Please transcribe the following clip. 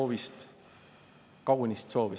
On täiesti pretsedenditu, et see seotakse usaldus.